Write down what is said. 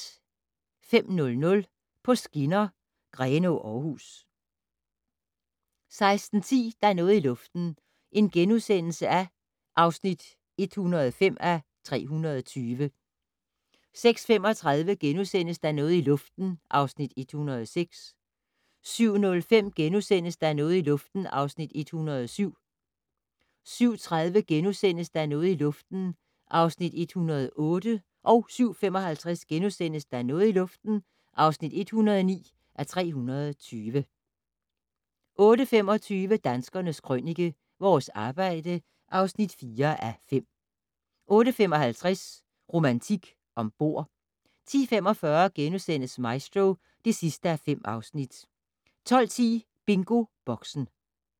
05:00: På skinner: Grenaa-Aarhus 06:10: Der er noget i luften (105:320)* 06:35: Der er noget i luften (106:320)* 07:05: Der er noget i luften (107:320)* 07:30: Der er noget i luften (108:320)* 07:55: Der er noget i luften (109:320)* 08:25: Danskernes Krønike - Vores arbejde (4:5) 08:55: Romantik om bord 10:45: Maestro (5:5)* 12:10: BingoBoxen